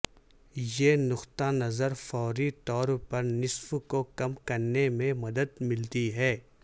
یہ نقطہ نظر فوری طور پر نصف کو کم کرنے میں مدد ملتی ہے